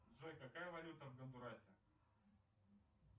джой какая валюта в гондурасе